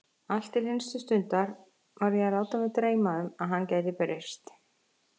Allt til hinstu stundar var ég að láta mig dreyma um að hann gæti breyst.